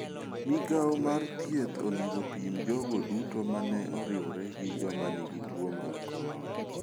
Migawo mar thieth onego opim jogo duto mane oriwore gi joma nigi tuo mar corona.